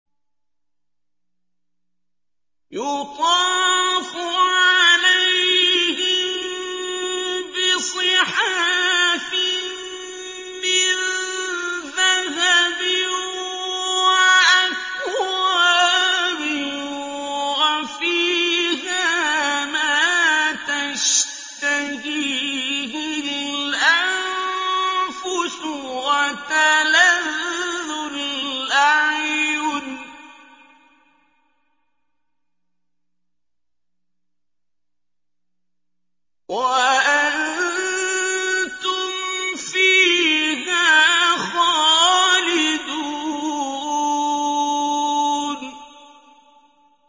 يُطَافُ عَلَيْهِم بِصِحَافٍ مِّن ذَهَبٍ وَأَكْوَابٍ ۖ وَفِيهَا مَا تَشْتَهِيهِ الْأَنفُسُ وَتَلَذُّ الْأَعْيُنُ ۖ وَأَنتُمْ فِيهَا خَالِدُونَ